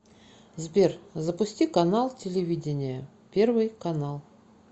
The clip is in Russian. сбер запусти канал телевидения первый канал